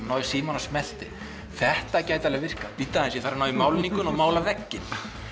náði í símann og smellti þetta gæti alveg virkað bíddu ég þarf að ná í málningu og mála vegginn